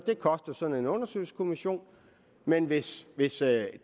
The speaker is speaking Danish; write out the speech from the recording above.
det koster sådan en undersøgelseskommission men hvis hvis det